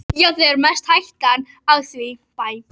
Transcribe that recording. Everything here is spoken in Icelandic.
Já, það er mest hættan á því.